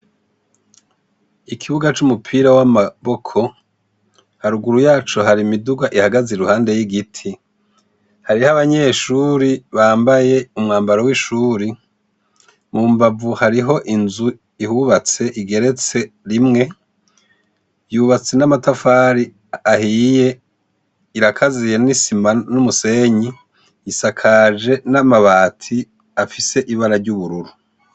Ikibuga c'umupira w'amaboko haruguru yaco hari imiduga ihagaze i ruhande y'igiti hariho abanyeshuri bambaye umwambaro w'ishuri mu mbavu hariho inzu ihubatse igeretse rimwe yubatse n'amatafari ahiye irakaziye n'isima n'umusenyi isakaje n'amabati afise ibara ry'ubururu.